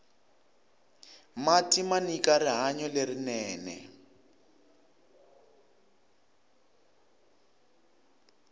mati manyika rihanyo lerinene